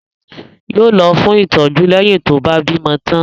Yóò lọ fún ìtọ́jú leyin tó bá bímọ tán